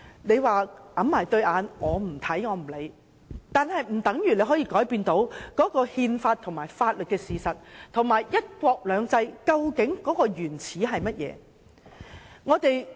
你可以捂着雙眼，不看不理，卻不可以改變憲法及法律的事實，以及"一國兩制"源自甚麼。